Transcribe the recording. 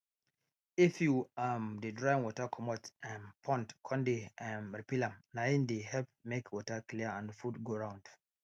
if you um de drain water comot um pond con de um refill am nai de help make water clear and food go round